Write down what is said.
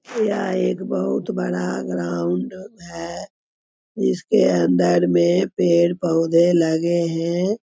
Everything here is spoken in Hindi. यह एक बहुत बड़ा ग्राउंड है| इसके अंदर मे पेड़-पोधे लगे हैं।